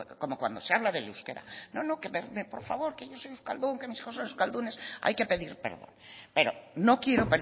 como cuando se habla del euskera no no por favor que yo soy euskaldun que mis hijos son euskaldunes hay que pedir perdón pero no quiero